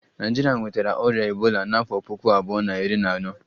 Naijiria nwetara ọrịa ebola n'afọ puku abuo na iri na ano